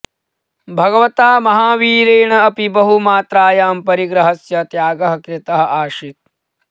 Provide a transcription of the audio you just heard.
भगवता महावीरेण अपि बहुमात्रायां परिग्रहस्य त्यागः कृतः आसीत्